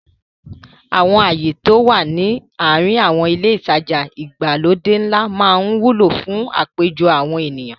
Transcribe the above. Àwọn ààyè tí ó wà ní àrin àwọn ilé ìtajà ìgbàlódé ńlá máa ń wúlò fún àpéjọ àwọn ènìyàn.